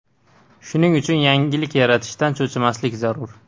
Shuning uchun yangilik yaratishdan cho‘chimaslik zarur.